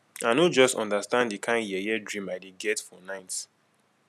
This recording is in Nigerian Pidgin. i no just understand the kin yeye dream i dey get for night